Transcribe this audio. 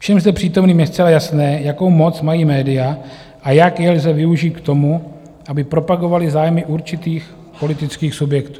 Všem zde přítomným je zcela jasné, jakou moc mají média a jak je lze využít k tomu, aby propagovala zájmy určitých politických subjektů.